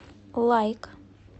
лайк